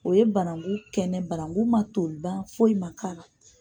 O ye banangu kɛnɛ banangu man toli ban foyi man k'a la.